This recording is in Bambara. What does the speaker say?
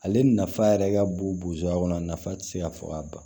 Ale nafa yɛrɛ ka bon bosoya kɔnɔ a nafa tɛ se ka fɔ ka ban